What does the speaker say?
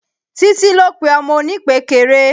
Títí ló pe ọmọ oní ìpékeré